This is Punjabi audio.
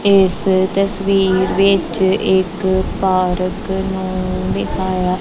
ਇਸ ਤਸਵੀਰ ਵਿੱਚ ਇੱਕ ਪਾਰਕ ਨੂੰ ਵੀ ਦਿਖਾਇਆ--